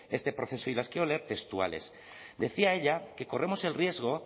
este proceso y las quiero leer textuales decía ella que corremos el riesgo